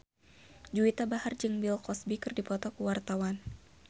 Juwita Bahar jeung Bill Cosby keur dipoto ku wartawan